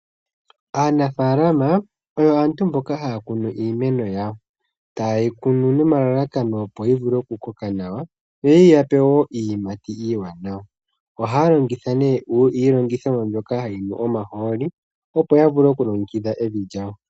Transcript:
Aanafalama oyo aantu mboka haya kunu iimeno yawo. Ta ye yi kunu nomalalakano opo yi vule oku koka nawa, yoyi ya pe wo iiyimati iiwanawa. Oha longitha nee iilongithomwa mbyoka ha yi nu omahooli, opo ya vule oku longekidha evi lyawo.